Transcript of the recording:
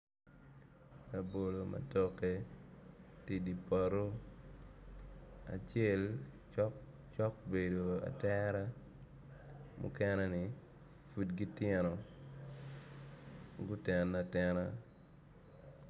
Labolo matoke tye idye poto acel cok bedo atera mukene ni pud gitino gutene atena